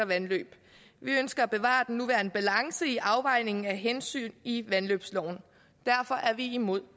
vandløb vi ønsker at bevare den nuværende balance i afvejningen af hensyn i vandløbsloven derfor er vi imod